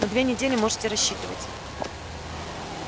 на две недели можете рассчитывать